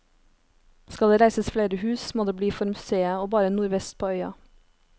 Skal det reises flere hus, må det bli for museet, og bare nordvest på øya.